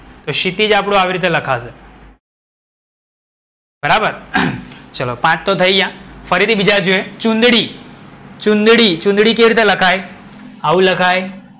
તો ક્ષિતિજ આપનું આવી રીતે લખાશે. બરાબર, ચલો પાંચ તો થઈ ગયા. ફરીથી બીજા જોઈએ. ચુંદડી. ચુંદડી, ચુંદડી કેવી રીતે લખાય? આવું લખાય?